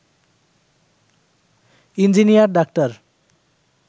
engineer doctor